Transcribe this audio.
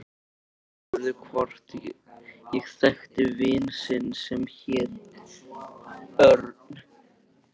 Maðurinn spurði hvort ég þekkti vin sinn sem héti Örn